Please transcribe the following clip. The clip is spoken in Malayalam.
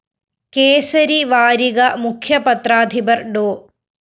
കേസരി വാരിക മുഖ്യ പത്രാധിപര്‍ ഡോ